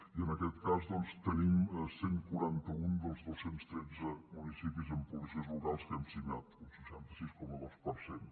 i en aquest cas doncs tenim cent i quaranta un dels dos cents i tretze municipis amb policies locals que han signat un seixanta sis coma dos per cent